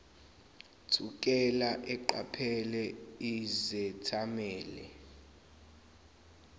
thukela eqaphela izethameli